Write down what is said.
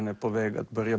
er búið hjá